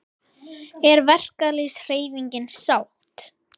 Er verkalýðshreyfingin sátt?